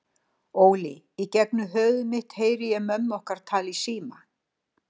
Óli, í gegnum höfuð mitt heyri ég mömmur okkar tala í síma.